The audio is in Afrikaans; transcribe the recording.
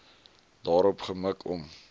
daarop gemik om